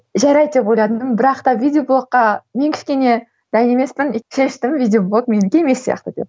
жарайды деп ойладым бірақ та видеоблогқа мен кішкене дайын емеспін деп шештім видеоблог менікі емес сияқты деп